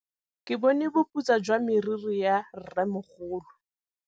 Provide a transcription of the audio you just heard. Ke bone boputswa jwa meriri ya rrêmogolo.